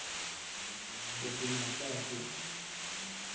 o senatla ha ke re